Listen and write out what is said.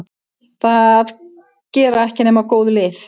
Það gera ekki nema góð lið.